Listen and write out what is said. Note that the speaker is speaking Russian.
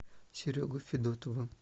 серегой федотовым